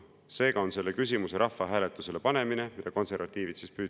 Seega on selle küsimuse rahvahääletusele panemine [Seda konservatiivid püüdsid teha.